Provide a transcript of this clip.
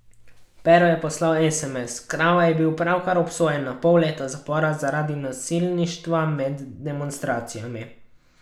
Pero je poslal esemes, Krava je bil pravkar obsojen na pol leta zapora zaradi nasilništva med demonstracijami.